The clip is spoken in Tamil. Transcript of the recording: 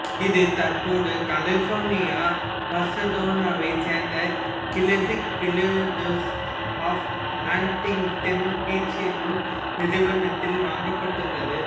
இது தற்போது கலிபோர்னியா பசடேனாவைச் சேர்ந்த classic philatelics of Huntington beach என்னும் நிறுவனத்தால் வாங்கப்பட்டுள்ளது